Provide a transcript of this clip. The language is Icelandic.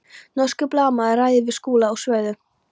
Norskur blaðamaður ræðir við þau Skúla og Svövu.